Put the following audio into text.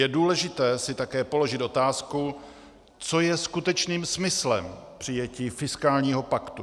Je důležité si také položit otázku, co je skutečným smyslem přijetí fiskálního paktu.